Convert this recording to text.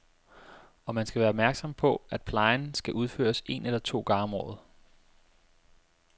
Og man skal være opmærksom på, at plejen skal udføres en eller to gange om året.